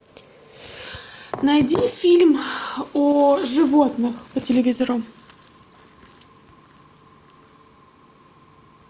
найди фильм о животных по телевизору